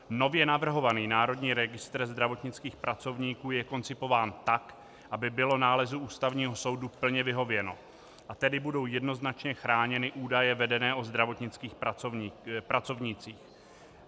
Nově navrhovaný Národní registr zdravotnických pracovníků je koncipován tak, aby bylo nálezu Ústavního soudu plně vyhověno, a tedy budou jednoznačně chráněny údaje vedené o zdravotnických pracovnících.